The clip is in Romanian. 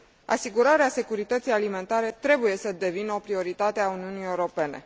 asigurarea securității alimentare trebuie să devină o prioritate a Uniunii Europene.